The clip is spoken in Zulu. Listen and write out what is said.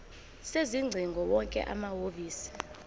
sezingcingo wonke amahhovisi